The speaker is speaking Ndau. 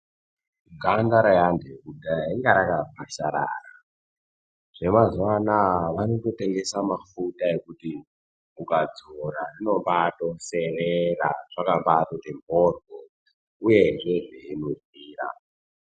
Ganda reantu ekudhaya inga rakakwasharara. Zvemazuva anaya vanotengeswa mafuta ekuti ukadzora rinobatoserera zvakambati mhoryo, uyezve zvenhuhwira.